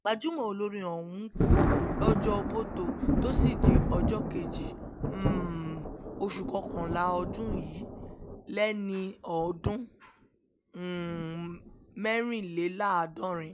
gbajúmọ̀ olórin ọ̀hún kú lọ́jọ́bọ́tò tọ́sídẹi ọjọ́ kejì um oṣù kọkànlá ọdún yìí lẹ́ni ọdún um mẹ́rìnléláàádọ́rin